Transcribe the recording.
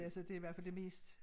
Altså det i hvert fald det mest